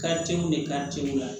de